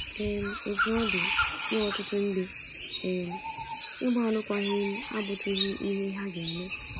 um Otú ọ dị, nye ọtụtụ ndị um, ịgba alụkwaghịm abụtụghị ihe ha ga - eme.